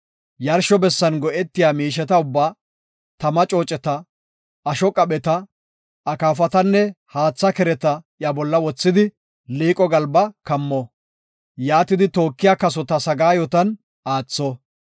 Yarsho bessan go7etiya miisheta ubbaa; tama cooceta, asho qapheta, akaafatanne haatha kereta iya bolla wothidi, liiqo galba kammo. Yaatidi tookiya kasota sagaayotan aatho.